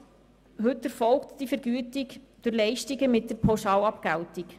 Heute erfolgt die Vergütung durch Leistungen mit der Pauschalabgeltung.